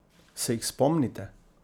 Se jih spomnite?